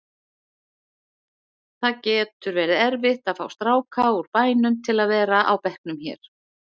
Það getur verið erfitt að fá stráka úr bænum til að vera á bekknum hér.